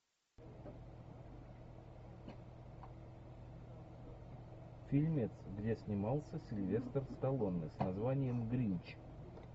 фильмец где снимался сильвестр сталлоне с названием гринч